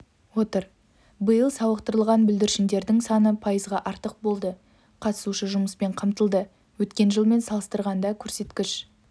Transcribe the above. отыр биыл сауықтырылған бүлдіршіндердің саны пайызға артық болды қатысушы жұмыспен қамтылды өткен жылмен салыстырғанда көрсеткіш